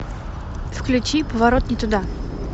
включи поворот не туда